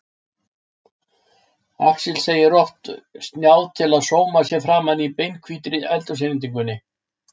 Axel segir of snjáð til að sóma sér framan á beinhvítri eldhúsinnréttingunni.